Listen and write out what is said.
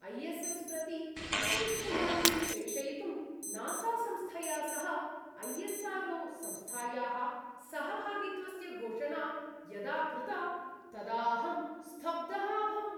I S S प्रति अन्तरिक्षयात्रीं प्रेषयितुं नासा-संस्थया सह ऐ एस् आर् ओ संस्थायाः सहभागित्वस्य घोषणा यदा कृता तदा अहं स्तब्धः अभवम्।